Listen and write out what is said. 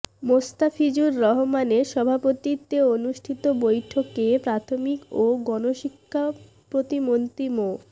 মোস্তাফিজুর রহমানের সভাপতিত্বে অনুষ্ঠিত বৈঠকে প্রাথমিক ও গণশিক্ষা প্রতিমন্ত্রী মো